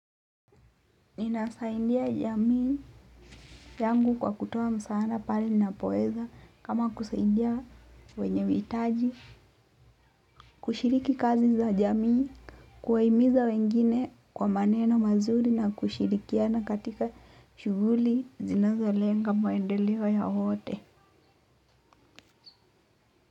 Ninasaidia jamii yangu kwa kutoa msaada pale ninapoweza kama kusaidia wenye hitaji kushiriki kazi za jamii kuwahimiza wengine kwa maneno mazuri na kushirikiana katika shughuli zinazolenga maendeleo ya wote.